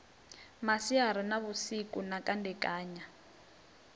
masiari na vhusiku na kandekanya